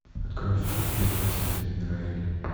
открой фильм первое свидание райли